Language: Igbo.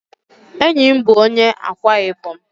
Enyi m bụ onye Ákwá-Ibom.